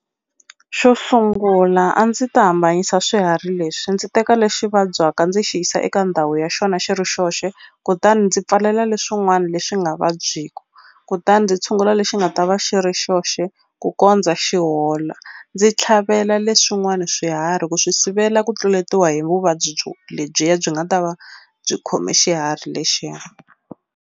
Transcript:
Xo sungula a ndzi ta hambanyisa swiharhi leswi ndzi teka lexi vabyaka ndzi xi yisa eka ndhawu ya xona xi ri xoxe kutani ndzi pfalela leswin'wani leswi nga vabyiku kutani ndzi tshungula lexi xi nga ta va xi ri xoxe ku kondza xi hola ndzi tlhavela leswin'wani swiharhi ku swi sivela ku tluletiwa hi vuvabyi byo lebyiya byi nga ta va byi khome xiharhi lexiya.